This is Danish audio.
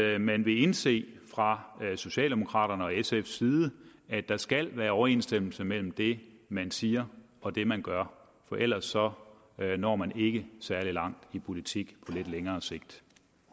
at man vil indse fra socialdemokraterne og sfs side at der skal være overensstemmelse mellem det man siger og det man gør for ellers når når man ikke særlig langt i politik på lidt længere sigt